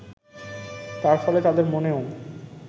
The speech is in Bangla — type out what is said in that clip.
তার ফলে তাদের মনেও